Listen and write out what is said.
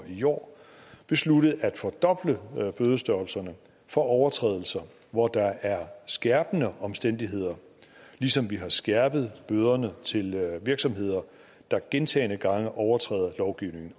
i år besluttet at fordoble bødestørrelserne for overtrædelser hvor der er skærpende omstændigheder ligesom vi har skærpet bøderne til virksomheder der gentagne gange overtræder lovgivningen